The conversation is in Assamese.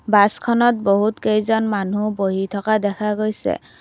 বাছখনত বহুত কেইজন মানুহ বহি থকা দেখা গৈছে।